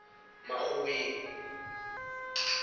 makgoweng